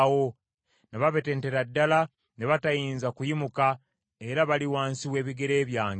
Na babetentera ddala ne batayinza kuyimuka, era bali wansi w’ebigere byange.